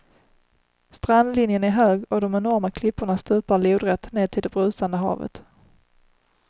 Strandlinjen är hög och de enorma klipporna stupar lodrätt ned till det brusande havet.